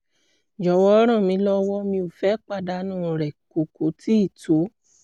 jọ̀wọ́ ràn mí lọ́wọ́; mi ò fẹ́ pàdánù rẹ̀ kò kò tíì tó